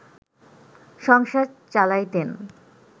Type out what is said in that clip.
সংসার চালাইতেন